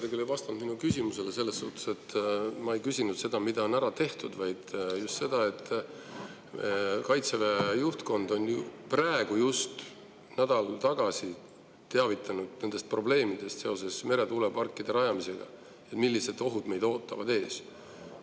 Te küll ei vastanud minu küsimusele selles mõttes, et ma ei küsinud seda, mida on ära tehtud, vaid just seda, et Kaitseväe juhtkond on praegu, just nädal tagasi teavitanud nendest probleemidest seoses meretuuleparkide rajamisega ja millised ohud meid ootavad ees.